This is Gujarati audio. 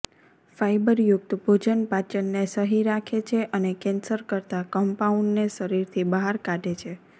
ફાઈબરયુક્ત ભોજન પાચનને સહી રાખે છે અને કેંસર કરતા કમ્પાઉંડને શરીરથી બહાર કાઢે છે